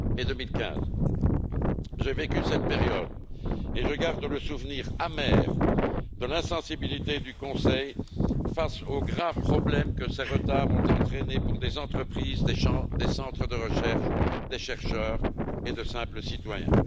et 2015. J'ai vécu cette période et je garde le souvenir amer de l'insensibilité du Conseil face aux graves problèmes que ces retards ont entraîné pour des entreprises, des centres de recherche, des chercheurs et de simples citoyens.